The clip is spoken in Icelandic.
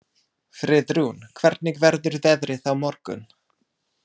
Friðrún, hvernig verður veðrið á morgun?